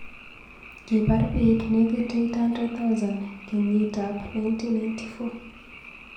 Kibaar bik nekit 800,000 kenyitab 1994.